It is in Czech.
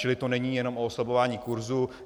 Čili to není jenom o oslabování kurzu.